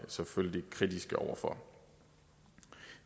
selvfølgelig kritiske over for